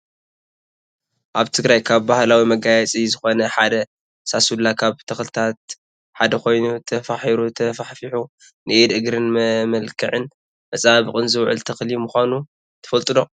ኣብ ትግራይ ካብ ባህላዊ መጋየፂ ዝኮነ ሓደ ሳሱሉ ካብ ተክልታት ሓደ ኮይኑ ተፋሒሩ ተፋሕፊሑ ንኢድን እግርን መመላክዕን መፀባበቅን ዝውዕል ተክሊ ምኳኑ ትፈልጡ ዶ?